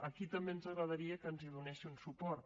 aquí també ens agradaria que ens hi donessin suport